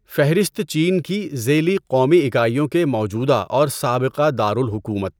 فہرست چین کی ذیلی قومی اکائیوں کے موجوده اور سابقہ دار الحکومت